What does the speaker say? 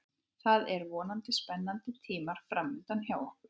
Það eru vonandi spennandi tímar framundan hjá okkur.